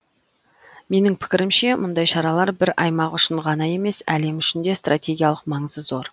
менің пікірімше мұндай шаралар бір аймақ үшін ғана емес әлем үшін де стратегиялық маңызы зор